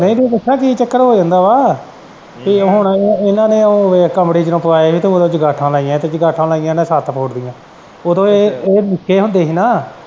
ਨੀ ਤੇ ਦੱਸਾ ਕੀ ਚੱਕਰ ਹੋ ਜਾਂਦਾ ਵਾ ਤੇ ਹੁਣ ਇਨਾਂ ਨੇ ਉਹ ਕਮਰੇ ਚ ਰਖਵਾਏ ਸੀ ਤੇ ਚੰਗਾਂਠਾ ਲਾਈਆ ਸੀ ਜੰਗਾਂਠਾ ਲਾਈਆ ਹੀ ਇਨੇ ਸੱਤ ਫੁੱਟ ਦੀਆਂ ਉਦੋ ਏਹ ਨਿੱਕੇ ਹੁੰਦੇ ਹੀ ਨਾ।